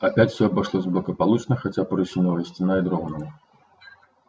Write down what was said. опять все обошлось благополучно хотя парусиновая стена и дрогнула